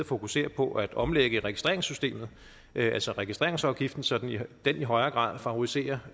fokusere på at omlægge registreringssystemet altså registreringsafgiften sådan at den i højere grad favoriserer